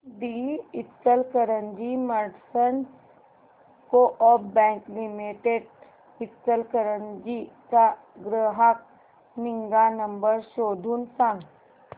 दि Ichalkaranji merchants coop bank limited Ichalkaranji चा ग्राहक निगा नंबर शोधून सांग